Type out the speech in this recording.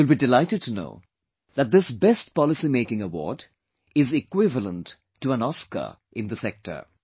You will be delighted to know that this best policy making award is equivalent to an Oscar in the sector